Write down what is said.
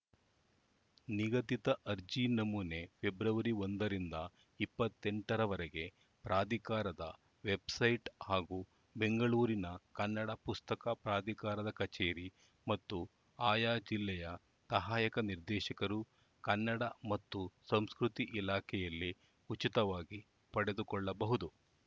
ನಿಗದಿತ ಅರ್ಜಿ ನಮೂನೆ ಫೆಬ್ರವರಿ ಒಂದರಿಂದ ಇಪ್ಪತ್ತೆಂಟರವರೆಗೆ ಪ್ರಾಧಿಕಾರದ ವೆಬ್‌ಸೈಟ್‌ ಹಾಗೂ ಬೆಂಗಳೂರಿನ ಕನ್ನಡ ಪುಸ್ತಕ ಪ್ರಾಧಿಕಾರದ ಕಚೇರಿ ಮತ್ತು ಆಯಾ ಜಿಲ್ಲೆಯ ಸಹಾಯಕ ನಿರ್ದೇಶಕರು ಕನ್ನಡ ಮತ್ತು ಸಂಸ್ಕೃತಿ ಇಲಾಖೆಯಲ್ಲಿ ಉಚಿತವಾಗಿ ಪಡೆದುಕೊಳ್ಳಬಹುದು